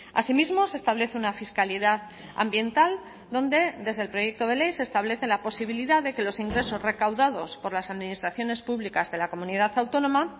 asimismo se establece una fiscalidad ambiental donde desde el proyecto de ley se establece la posibilidad de que los ingresos recaudados por las administraciones públicas de la comunidad autónoma